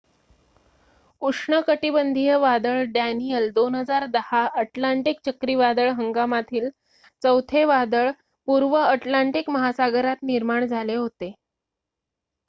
उष्णकटिबंधीय वादळ Daniel 2010 Atlantic चक्रीवादळ हंगामातील चौथे वादळ पूर्व अटलांटिक महासागरात निर्माण झाले होते